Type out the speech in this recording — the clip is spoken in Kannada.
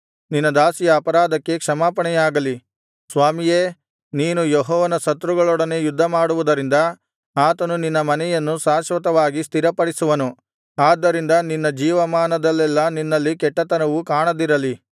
ನಿನ್ನ ದಾಸಿಯ ಅಪರಾಧಕ್ಕೆ ಕ್ಷಮಾಪಣೆಯಾಗಲಿ ಸ್ವಾಮಿಯೇ ನೀನು ಯೆಹೋವನ ಶತ್ರುಗಳೊಡನೆ ಯುದ್ಧಮಾಡುವುದರಿಂದ ಆತನು ನಿನ್ನ ಮನೆಯನ್ನು ಶಾಶ್ವತವಾಗಿ ಸ್ಥಿರಪಡಿಸುವನು ಆದ್ದರಿಂದ ನಿನ್ನ ಜೀವಮಾನದಲ್ಲೆಲ್ಲಾ ನಿನ್ನಲ್ಲಿ ಕೆಟ್ಟತನವು ಕಾಣದಿರಲಿ